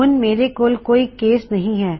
ਹੁਣ ਮੇਰੇ ਕੋਲ ਹੋਰ ਕੋਈ ਕੇਸ ਨਹੀ ਹੇ